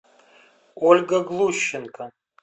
ольга глущенко